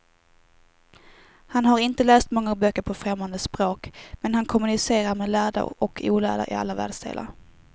Han har inte läst många böcker på främmande språk, men han kommunicerar med lärda och olärda i alla världsdelar.